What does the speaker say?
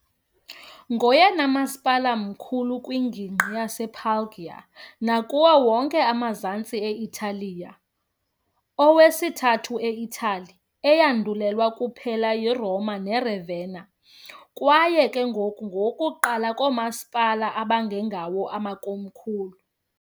Ngoyena masipala mkhulu kwingingqi yasePuglia nakuwo wonke amazantsi e-Italiya, okwesithathu e-Itali, eyandulelwa kuphela yiRoma kunye neRavenna kwaye ke ngoko kuqala phakathi koomasipala abangengabo amakomkhulu.